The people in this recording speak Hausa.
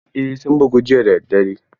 Eh sun bugu jiya da daddare.